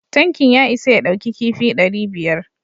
Tankin ya isa ya ɗauki kifi dari biyar